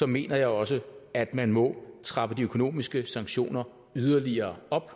mener jeg også at man må trappe de økonomiske sanktioner yderligere op